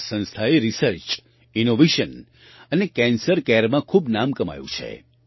આ સંસ્થાએ research innovation અને કેન્સર કૅરમાં ખૂબ નામ કમાયું છે